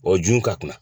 O jun ka kunna